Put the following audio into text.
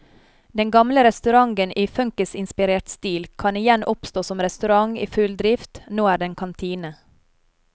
Den gamle restauranten i funkisinspirert stil kan igjen oppstå som restaurant i full drift, nå er den kantine.